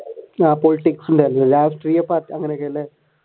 politics ഉണ്ടായിരുന്നല്ലേ രാഷ്ട്രീയ അങ്ങനെയൊക്കെയായിട്ട്